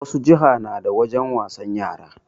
Wasu jiha na da wajen wasan yara